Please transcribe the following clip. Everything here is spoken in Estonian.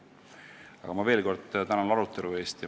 Aga ma veel kord tänan arutelu eest!